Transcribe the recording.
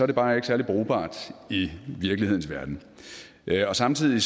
det bare ikke særlig brugbart i virkelighedens verden og samtidig